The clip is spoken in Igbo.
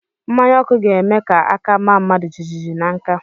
Mmanya ọkụ ga-eme ka aka maa mmadụ jijiji na nka